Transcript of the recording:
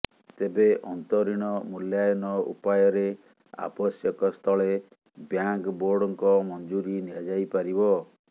ତେବେ ଅନ୍ତରିଣ ମୂଲ୍ୟାୟନ ଉପାୟରେ ଆବଶ୍ୟକ ସ୍ଥଳେ ବ୍ୟାଙ୍କ ବୋର୍ଡଙ୍କ ମଞ୍ଜୁରି ନିଆଯାଇପାରିବ